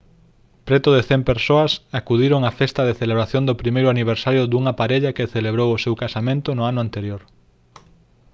preto de 100 persoas acudiron á festa de celebración do primeiro aniversario dunha parella que celebrou o seu casamento o ano anterior